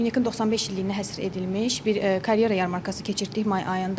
ÜNET-in 95 illiyinə həsr edilmiş bir karyera yarmarkası keçirtdik may ayında.